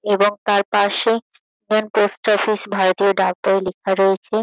এবং তার পাশে মেইন পোস্ট অফিস ভারতীয় ডাক বই লেখা রয়েছে।